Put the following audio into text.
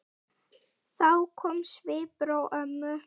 Þá kom svipur á ömmu.